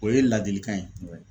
O ye ladilikan ye